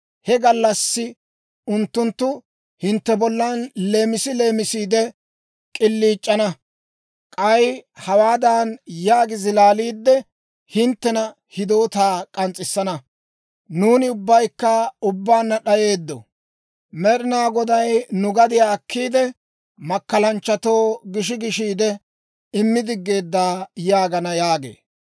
He gallassi unttunttu hintte bollan leemisi leemisiide k'iliic'ana; k'ay hawaadan yaagi zilaaliidde, hinttena hidoota k'ans's'issana; «Nuuni ubbaykka ubbaanna d'ayeeddo. Med'ina Goday nu gadiyaa akkiide, makkalanchchatoo gishi gishiide, immi digeedda yaagana» yaagee.